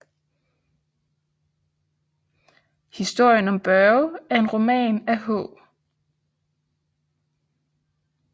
Historien om Børge er en roman af H